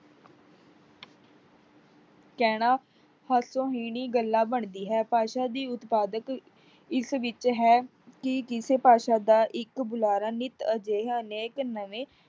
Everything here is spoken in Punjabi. ਕਹਿਣਾ ਹਾਸੋਹੀਣੀ ਗੱਲਾ ਬਣਦੀ ਹੈ, ਭਾਸ਼ਾ ਦੀ ਉਤਪਾਧਕ ਇਸ ਵਿੱਚ ਹੈ ਕੀ ਕਿਸੇ ਭਾਸ਼ਾ ਦਾ ਇੱਕ ਬੁਲਾਰਾ ਨਿੱਤ ਅਜਿਹਾ ਨੇਕ ਨਵੇਂ